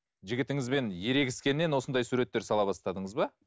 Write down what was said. жігітіңізбен ерегіскеннен осындай суреттер сала бастадыңыз ба